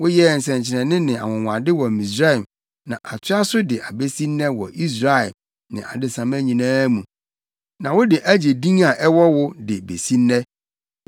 Woyɛɛ nsɛnkyerɛnne ne anwonwade wɔ Misraim na atoa so de abesi nnɛ wɔ Israel ne adesamma nyinaa mu, na wode agye din a ɛwɔ wo de besi nnɛ.